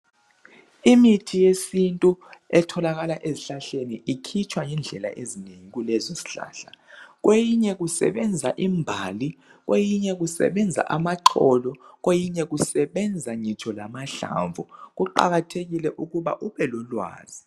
Imithi yesintu etholakala ezihlahleni ikhitshwa ngendlela ezinengi kulezo zihlahla kweyinye kusebenza imbali kweyinye kusebenza amaxolo kweyinye kusebenza ngitsho lamahlamvu kuqakathekile ukuba ubelolwazi.